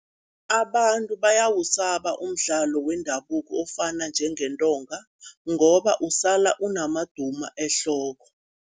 Abantu bayawusaba umdlalo wendabuko ofana njengentonga ngoba usala unamaduma ehloko.